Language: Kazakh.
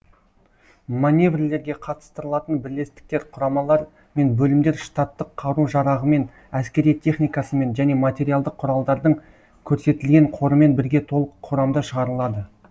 маневрлерге қатыстырылатын бірлестіктер құрамалар мен бөлімдер штаттық қару жарағымен әскери техникасымен және материалдық құралдардың көрсетілген қорымен бірге толық құрамда шығарылады